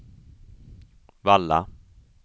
Valla